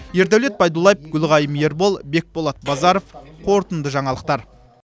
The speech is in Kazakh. ердәулет байдуллаев гүлғайым ербол бекболат базаров қорытынды жаңалықтар